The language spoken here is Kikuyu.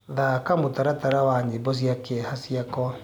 thaka mũtaratara wa nyĩmbo cĩa kieha cĩakwa